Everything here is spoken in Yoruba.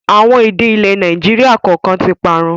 Àwọn èdè ilẹ̀ Nàìjíríà kọ̀ọ̀kan tí parun